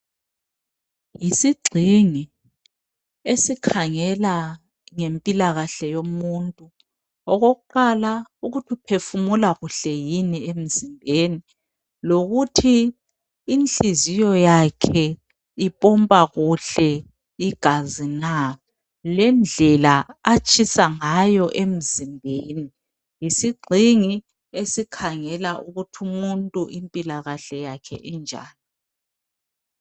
Yisigxingi esikhangela ngempilakahle yomuntu okokuqala ukuthi uphefumula kuhle yini emzimbeni lokuthi inhliziyo yakhe ipompa kuhle igazi na lendlela atshisa ngayo emzimbeni yisigxingi esikhangela ukuthi umuntu impilakahle yakhe injani.